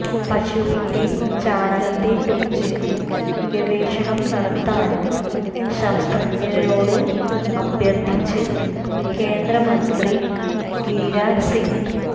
പശുവിന്റെ ചാണകത്തെക്കുറിച്ച് ഗവേഷണം നടത്താന് ശാസ്ത്രജ്ഞരോട് അഭ്യര്ത്ഥിച്ച് കേന്ദ്രമന്ത്രി ഗിരിരാജ് സിങ്